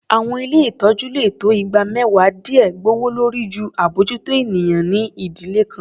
Àwọn ilé ìtọ́jú lè tó igba mẹ́wàá díè gbòwòlórí jù abójútó ènìyàn ní ìdílé kan.